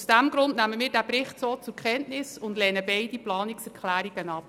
Aus diesem Grund nehmen wir den Bericht so zur Kenntnis und lehnen beide Planungserklärungen ab.